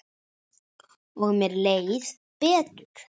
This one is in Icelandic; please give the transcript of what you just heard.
Og mér leið betur.